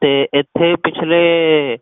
ਤੇ ਇਥੇ ਪਿਛਲੇ